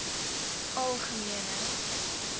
algemene